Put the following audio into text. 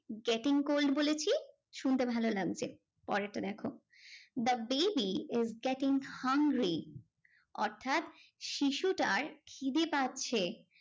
Getting cold বলেছি শুনতে ভালো লাগছে। পরেরটা দেখো, the baby is getting hungry অর্থাৎ শিশুটার খিদে পাচ্ছে।